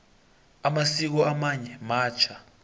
amasiko amanye matjha